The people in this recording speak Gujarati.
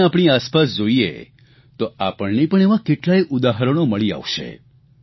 આપણે આપણી આસપાસ જોઇએ તો આપણને પણ એવા કેટલાક ઉદાહરણો મળી આવશે